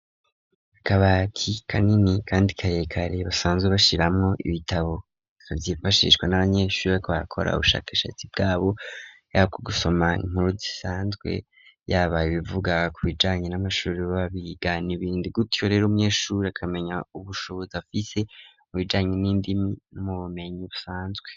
Akabati kanini kandi karekare basanzwe bashiramwo ibitabo kabyifashishwa n'abanyeshuri bakbakora ubushakashatsi bwabo yako gusoma inkuru zisanzwe yabaye bivuga ku bijanye n'amashure babigana ibindi gutyo rero umyeshuri akamenya ubushobozi afise mu bijanye n'indimi n'mu bumenyi busanzwe.